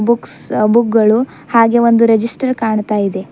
Books ಆ book ಗಳು ಹಾಗೆ ಒಂದು ರಿಜಿಸ್ಟರ್ ಕಾಣ್ತಾ ಇದೆ.